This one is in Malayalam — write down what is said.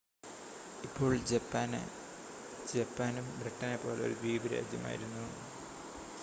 ഇപ്പോൾ ജപ്പാന് ജപ്പാനും ബ്രിട്ടനെ പോലെ ഒരു ദ്വീപ് രാജ്യമായിരുന്നു